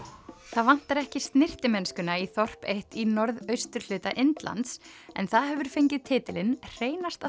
það vantar ekki snyrtimennskuna í þorp eitt í norðausturhluta Indlands en það hefur fengið titilinn hreinasta